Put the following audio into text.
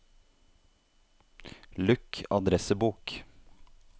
lukk adressebok